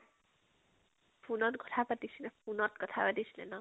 phone ত কথা পাতিছিলে phone ত কথা পাতিছিলে ন ?